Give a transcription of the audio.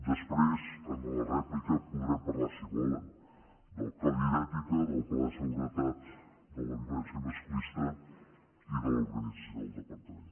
després en la rèplica podrem parlar si volen del codi d’ètica del pla de seguretat contra la violència masclista i de l’organització del departament